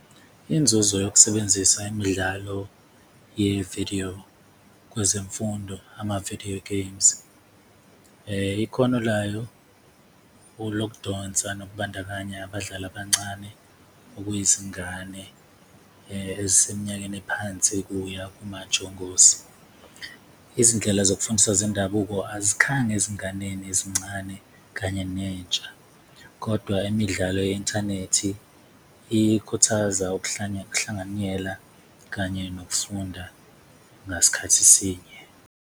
Inzuzo yokusebenzisa imidlalo ye-video kwezemfundo, ama-video games ikhono layo lokudonsa nokubandakanya abadlali abancane, okuyizingane eziseminyakeni ephansi kuya komajongosi, izindlela zokufundisa zendabuko ezinganeni ezincane kanye nentsha. Kodwa imidlalo ye-inthanethi ikhuthaza ukuhlanganyela kanye nokufunda ngasikhathi sinye.